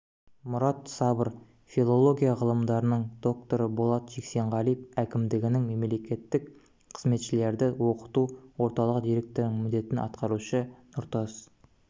мұрат сабыр филология ғылымдарының докторы болат жексенғалиев әкімдігінің мемлекеттік қызметшілерді оқыту орталығы директорының міндетін атқарушы нұртас